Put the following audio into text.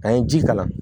An ye ji kalan